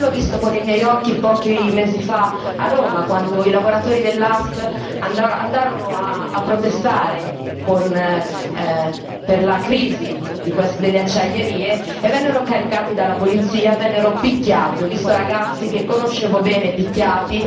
Io l'ho visto con i miei occhi pochi mesi fa, a Roma, quando i lavoratori dell'Ast andarono a protestare per la crisi delle acciaierie e vennero caricati dalla polizia, vennero picchiati. Ho visto ragazzi che conoscevo bene essere picchiati.